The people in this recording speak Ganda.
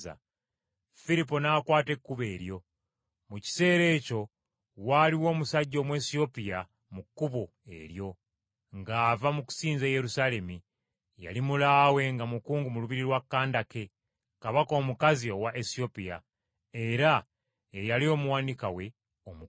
Firipo n’akwata ekkubo eryo. Mu kiseera ekyo waaliwo omusajja Omwesiyopya mu kkubo eryo ng’ava mu kusinza e Yerusaalemi. Yali mulaawe nga mukungu mu lubiri lwa Kandake, kabaka omukazi owa Esiyopya, era ye yali omuwanika we omukulu.